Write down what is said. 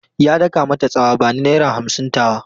Ya daka mata tsawa "Bani naira hamsin tawa!"